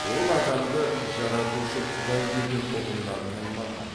ол адамды жаратушы құдай деген ұғымнан таймаған